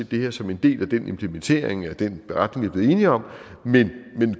det her som en del af den implementering af den beretning vi er blevet enige om men